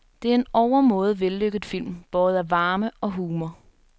Det er en overmåde vellykket film, båret af varme og humor.